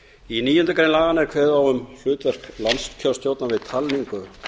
í níundu grein laganna er kveðið á um hlutverk landskjörstjórnar við talningu